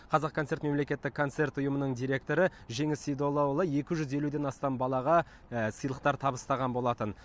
қазақконцерт мемлекеттік концерт ұйымының директоры жеңіс сейдуллаұлы екі жүз елуден астам балаға сыйлықтар табыстаған болатын